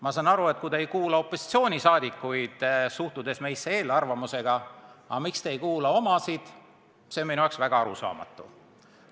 Ma saan aru, et te ei kuula opositsiooni, suhtute meisse eelarvamusega, aga miks te ei kuula omasid, see on minu jaoks väga arusaamatu.